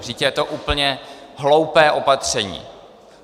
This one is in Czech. Vždyť je to úplně hloupé opatření.